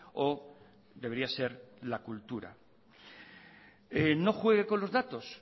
o debería ser la cultura no juegue con los datos